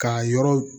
K'a yɔrɔ